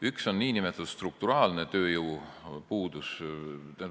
Üks on nn strukturaalne tööjõupuudus.